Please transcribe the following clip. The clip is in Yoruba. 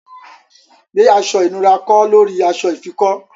Gbè aṣọ̀ ìnùra kọ̀ lórí aṣọ̀ ìfikọ́!